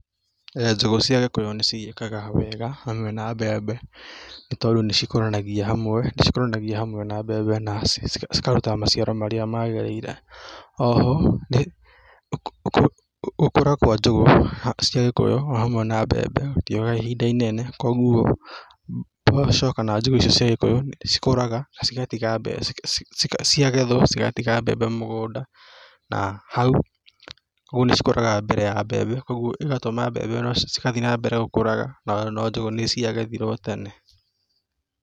Njũgũ cia gĩkũyũ nĩ ciĩkaga wega hamwe na mbembe, nĩ tondũ nĩ cikũranagia hamwe, nĩcikũranagia hamwe na mbembe, na cikaruta maciaro marĩa magĩrĩire. O ho gũkũra kwa njũgũ cia gĩkũyũ o hamwe na mbembe gũtioyaga ihinda inene koguo mboco, kana njũgũ icio cia gĩkũyũ cikũraga, na cigatiga mbembe, ciagethwo, cigatiga mbembe mũgũnda, na hau, ũguo nĩ cikũraga mbere ya mbembe, koguo ĩgatũma mbembe cigathiĩ na mbere gũkũraga, no njũgũ nĩ ciagethirwo tene.